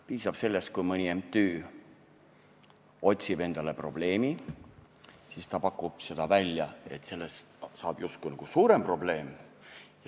Piisab sellest, kui mõni MTÜ otsib endale probleemi, siis ta pakub selle välja ja sellest saab justkui suurem probleem.